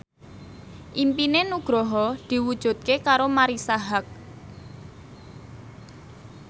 impine Nugroho diwujudke karo Marisa Haque